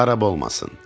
Xarab olmasın.